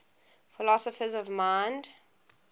philosophers of mind